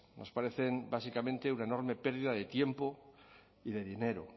nos parecen básicamente una enorme pérdida de tiempo y de dinero